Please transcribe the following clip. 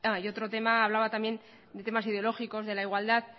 ah y otro tema hablaba también de temas ideológicos de la igualdad